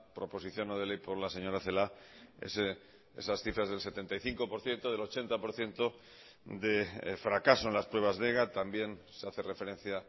proposición no de ley por la señora celaá esas cifras del setenta y cinco por ciento del ochenta por ciento de fracaso en las pruebas de ega también se hace referencia